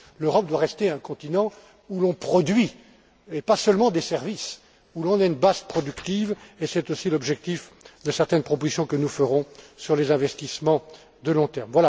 L'Europe doit rester un continent où l'on produit, et pas seulement des services, où l'on est une base productive, et c'est aussi l'objectif de certaines propositions que nous ferons sur les investissements à long terme.